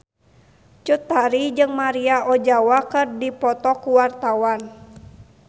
Cut Tari jeung Maria Ozawa keur dipoto ku wartawan